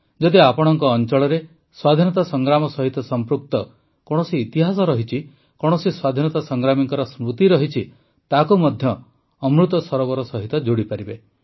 ଯଦି ଆପଣଙ୍କ ଅଂଚଳରେ ସ୍ୱାଧୀନତା ସଂଗ୍ରାମ ସହିତ ସଂପୃକ୍ତ କୌଣସି ଇତିହାସ ରହିଛି କୌଣସି ସ୍ୱାଧୀନତା ସଂଗ୍ରାମୀଙ୍କ ସ୍ମୃତି ରହିଛି ତାକୁ ମଧ୍ୟ ଅମୃତ ସରୋବର ସହିତ ଯୋଡ଼ିପାରିବେ